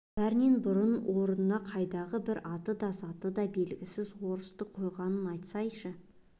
бәрінен бұрын орнына қайдағы бір аты да заты да белгісіз орысты қойғанын айтсайшы